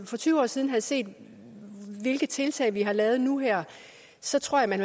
for tyve år siden havde set hvilke tiltag vi har lavet nu her så tror jeg man